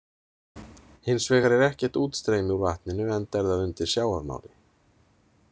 Hins vegar er ekkert útstreymi úr vatninu enda er það undir sjávarmáli.